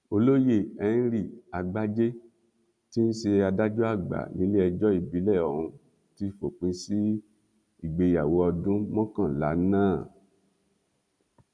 olóyè henry àgbájé tí í ṣe adájọ àgbà nílẹẹjọ ìbílẹ ọhún ti fòpin sí ìgbéyàwó ọdún mọkànlá náà